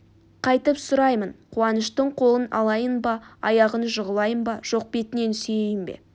қайтіп сұраймын қуаныштың қолын алайын ба аяғына жығылайын ба жоқ бетінен сүйейін бе